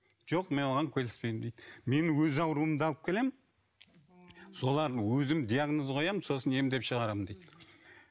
жоқ мен оған келіспеймін дейді мен өз ауруымды алып келемін солардың өзім диагноз қоямын сосын емдеп шығарамын дейді